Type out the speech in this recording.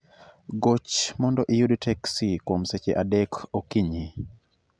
Goch mondo iyud teksi kuom seche adek okinyi